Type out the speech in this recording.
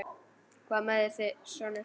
Hvað mæðir þig sonur?